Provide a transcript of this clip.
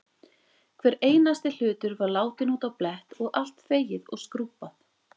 Hver einasti hlutur var látinn út á blett og allt þvegið og skrúbbað.